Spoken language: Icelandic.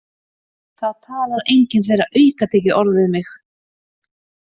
Það talar enginn þeirra aukatekið orð við mig.